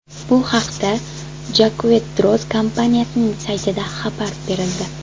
Bu haqda Jaquet Droz kompaniyasining saytida xabar berildi .